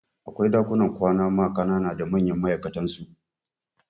Akwai ɗakunan kwana ma kanana da manyan ma'aikatan su